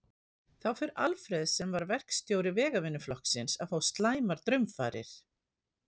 Þá fer Alfreð, sem var verkstjóri vegavinnuflokksins, að fá slæmar draumfarir.